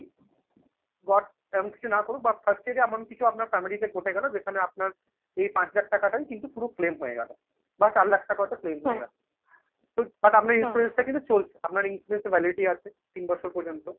god এমন কিছু না করো but first year এ এমন কিছু আপনার family তে ঘটে গেল যেখানে আপনার এই পাঁচ লাখ টাকাটাই কিন্তু পুরো claim হয়ে গেল বা চার লাখ টাকার একটা claim হয়ে গেল। তো but আপনার insurance টা কিন্তু চলছে. আপনার insurance এ validity আছে তিন বছর পর্যন্ত